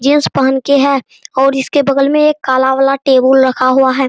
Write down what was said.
Jeans पहन के है और इसके बगल में एक कला वाला टेबुल रखा हुआ है।